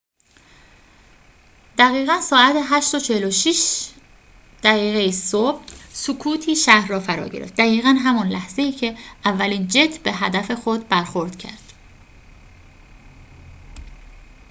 دقیقاً ساعت ۸:۴۶ صبح سکوتی شهر را فرا گرفت دقیقاً همان لحظه‌ای که اولین جت به هدف خود برخورد کرد